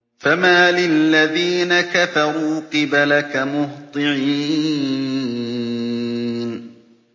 فَمَالِ الَّذِينَ كَفَرُوا قِبَلَكَ مُهْطِعِينَ